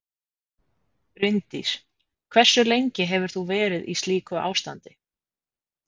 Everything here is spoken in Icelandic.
Bryndís: Hversu lengi hefur þú verið í slíku ástandi?